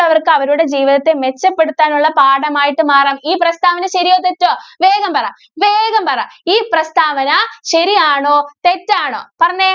ള്ളവര്‍ക്ക് അവരുടെ ജീവിതത്തെ മെച്ചപ്പെടുത്താനുള്ള പാഠമായിട്ട് മാറാം. ഈ പ്രസ്താവന ശരിയോ? തെറ്റോ? വേഗം പറ. വേഗം പറ ഈ പ്രസ്താവന ശരിയാണോ? തെറ്റാണോ? പറഞ്ഞേ.